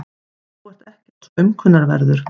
Þú ert ekkert svo aumkunarverður.